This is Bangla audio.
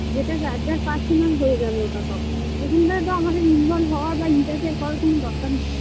যেটা যার যার personal হয়ে যাবে ওটা তখন সেখানটায় তো আমাদের involve হওয়ার বা interfere করার কোনো দরকার নেই